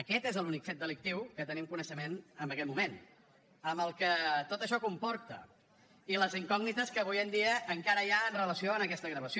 aquest és l’únic fet delictiu de què tenim coneixement en aquest moment amb el que tot això comporta i les incògnites que avui en dia encara hi ha en relació amb aquesta gravació